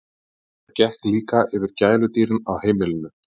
Þetta gekk líka yfir gæludýrin á heimilinu.